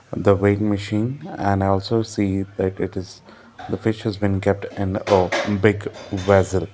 the weighing machine and i also see that it is the fish has been kept in a big vessel.